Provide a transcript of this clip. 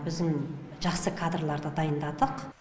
біздің жақсы кадрларды дайындадық